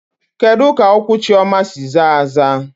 Kedu ka ụkwụ Chioma si zaa aza?